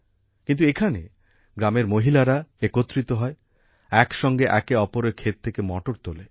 কিন্তু এখানে গ্রামের মহিলারা একত্রিত হয় একসঙ্গে একে অপরের ক্ষেত থেকে মটর তোলে